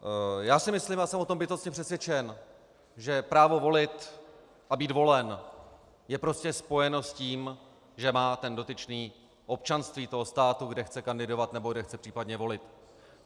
Já si myslím a jsem o tom bytostně přesvědčen, že právo volit a být volen je prostě spojeno s tím, že má ten dotyčný občanství toho státu, kde chce kandidovat nebo kde chce případně volit.